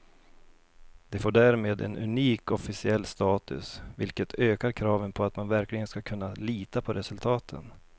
Det får därmed en unik officiell status, vilket ökar kraven på att man verkligen ska kunna lita på resultaten.